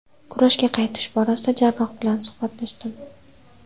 Kurashga qaytish borasida jarroh bilan suhbatlashdim.